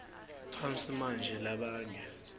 phansi manje labanye